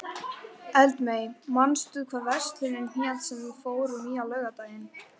Eldmey, manstu hvað verslunin hét sem við fórum í á laugardaginn?